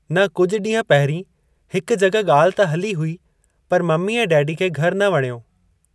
न कुझु ॾींहं पहिरीं हिकु जग॒हि ॻाल्हि त हली हुई पर ममी ऐं डैडी खे घरु न वणियो।